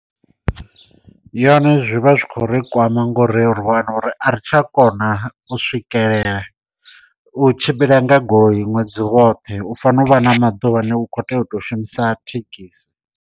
Yone zwi vha zwi khou ri kwama nga uri ri wane uri a ri tsha kona u swikelela u tshimbila nga goloi ṅwedzi woṱhe u fanela u vha na maḓuvha ane u kho tea u to shumisa thekhisi.